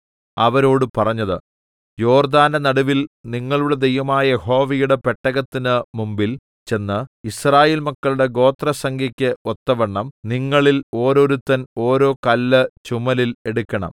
അവരോട് പറഞ്ഞത് യോർദ്ദാന്റെ നടുവിൽ നിങ്ങളുടെ ദൈവമായ യഹോവയുടെ പെട്ടകത്തിന് മുമ്പിൽ ചെന്ന് യിസ്രായേൽ മക്കളുടെ ഗോത്രസംഖ്യക്ക് ഒത്തവണ്ണം നിങ്ങളിൽ ഓരോരുത്തൻ ഓരോ കല്ല് ചുമലിൽ എടുക്കണം